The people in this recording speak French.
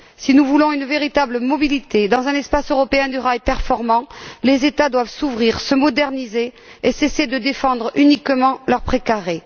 Si nous voulons une véritable mobilité, dans un espace européen du rail performant, les États doivent s'ouvrir, se moderniser et cesser de défendre uniquement leur pré carré.